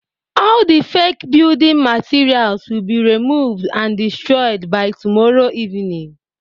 All the fake building materials will be removed and destroyed by tomorrow evening